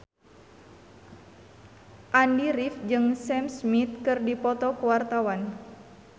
Andy rif jeung Sam Smith keur dipoto ku wartawan